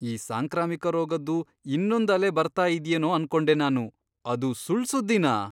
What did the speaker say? ಈ ಸಾಂಕ್ರಾಮಿಕ ರೋಗದ್ದು ಇನ್ನೊಂದ್ ಅಲೆ ಬರ್ತಾ ಇದ್ಯೇನೋ ಅನ್ಕೊಂಡೆ ನಾನು. ಅದು ಸುಳ್ಳ್ ಸುದ್ದಿನಾ?!